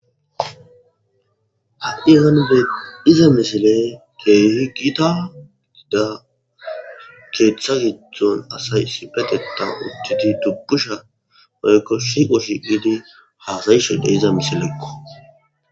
ha7i hanude iza misiley keeyhi gita ggida keeththa giddzon asay sipeteta udtidi dubbusha maykko shiiqo shi gidi haasayishede iza misileekko